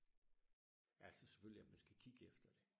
altså selvfølgelig at man skal kigge efter det